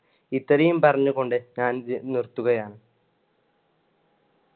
ഇത്രയും പറഞ്ഞു കൊണ്ട് ഞാൻ നി~ നിർത്തുകയാണ്.